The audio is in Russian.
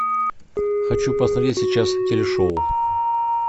хочу посмотреть сейчас телешоу